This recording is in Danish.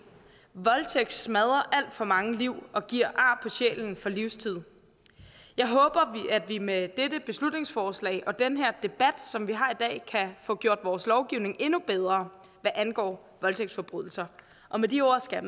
voldtægt smadrer alt for mange liv og giver ar på sjælen for livstid jeg håber at vi med dette beslutningsforslag og den debat som vi har i dag kan få gjort vores lovgivning endnu bedre hvad angår voldtægtsforbrydelser med de ord skal